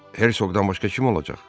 Hersoqdan başqa kim olacaq?